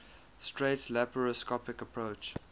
straight laparoscopic approach